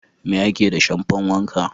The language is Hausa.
Me ake da shamfan wanka?